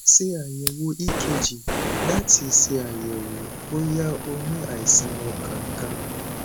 ṣe ayẹwo cs] ekg lati ṣayẹwo boya o ni àìsàn ọkan kan